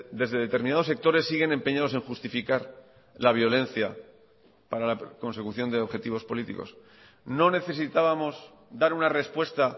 desde determinados sectores siguen empeñados en justificar la violencia para la consecución de objetivos políticos no necesitábamos dar una respuesta